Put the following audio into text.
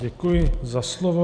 Děkuji za slovo.